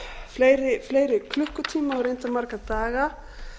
fleiri fleiri klukkutíma og reyndar marga daga